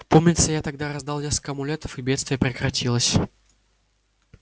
помнится я тогда раздал несколько амулетов и бедствие прекратилось